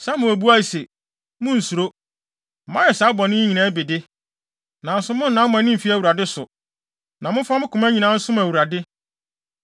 Samuel buae se, “Munnsuro. Moayɛ saa bɔne yi nyinaa bi de, nanso monnnan mo ani mmfi Awurade so, na momfa mo koma nyinaa nsom Awurade.